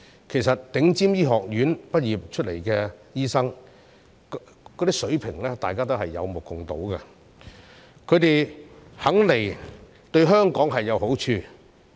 其實，從頂尖醫學院畢業的醫生的水平，大家也有目共睹，他們願意來港，對香港有好處。